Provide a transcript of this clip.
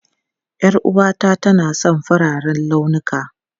Yar'uwata tana son fararen launuka.